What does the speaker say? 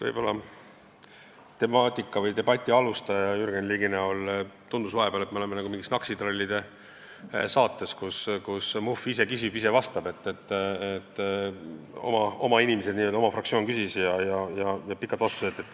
Võib-olla teema algataja või debati alustaja Jürgen Ligi näol tundus vahepeal, et me oleme nagu mingis Naksitrallide saates, kus Muhv ise küsib ja ise vastab, st oma inimesed, oma fraktsioon küsis ja tulid pikad vastused.